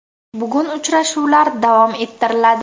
Bugun uchrashuvlar davom ettiriladi.